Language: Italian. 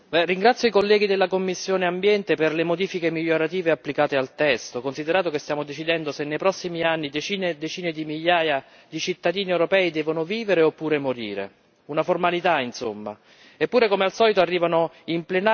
Signora Presidente, onorevoli colleghi, ringrazio i colleghi della commissione Ambiente per le modifiche migliorative applicate al testo, considerato che stiamo decidendo se nei prossimi anni decine e decine di migliaia di cittadini europei devono vivere oppure morire. Una formalità, insomma.